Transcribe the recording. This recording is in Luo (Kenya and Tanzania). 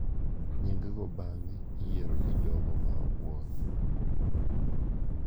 Nying’go bang’e iyiero gi jogo ma obworo.